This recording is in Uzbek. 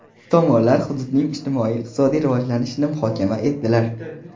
Tomonlar hududning ijtimoiy-iqtisodiy rivojlanishini muhokama etdilar.